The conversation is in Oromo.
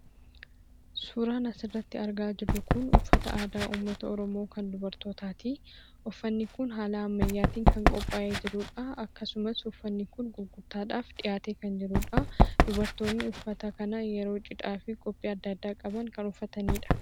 Suuraan asirratti argaa jirru kun, uffata aadaa uummata oromoo kan dubartootati. uffanni kun haala ammayyatin kan qopha'ee jirudha. akkasumas, uffanni kun gurgurtaadhaf dhi'aate kan jirudha. Dubartoonni uffata kana yeroo cidhaa fi qophii addaa addaa qaban kan uffatanidha.